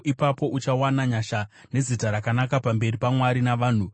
Ipapo uchawana nyasha nezita rakanaka pamberi paMwari navanhu.